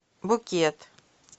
букет